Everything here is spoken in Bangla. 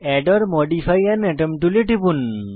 add or modify an item টুলে টিপুন